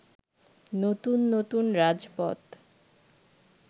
নতুন নতুন রাজপথ